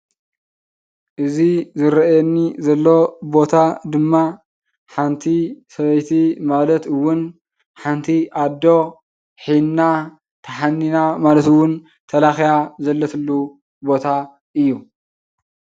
እዚ ዝርኣየኒ ዘሎ ቦታ ድማ ሓንቲ ሰበይቲ ማለት እዉን ሓንቲ ኣዶ ሒና ተሓኒና ማለት እዉን ተለኽያ ዘለትሉ ቦታ እዩ።